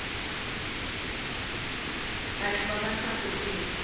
batho ba ba sa gogeng